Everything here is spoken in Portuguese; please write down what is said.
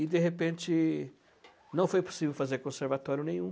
E, de repente, não foi possível fazer conservatório nenhum.